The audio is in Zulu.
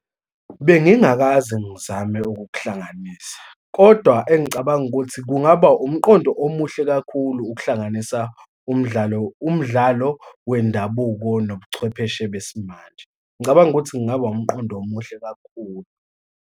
Bengingakaze ngizame ukukuhlanganisa, kodwa engicabanga ukuthi kungaba umqondo omuhle kakhulu, ukuhlanganisa umdlalo, umdlalo wendabuko nobuchwepheshe besimanje. Ngicabanga ukuthi kungaba umqondo omuhle kakhulu.